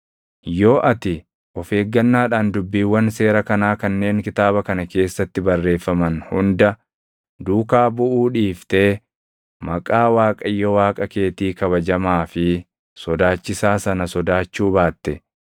Yoo ati of eeggannaadhaan dubbiiwwan seera kanaa kanneen kitaaba kana keessatti barreeffaman hunda duukaa buʼuu dhiiftee maqaa Waaqayyo Waaqa keetii kabajamaa fi sodaachisaa sana sodaachuu baatte,